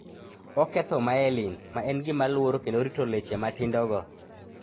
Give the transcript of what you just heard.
Oketho myelin, ma en gima luoro kendo rito leche matindogo.